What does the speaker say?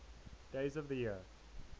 days of the year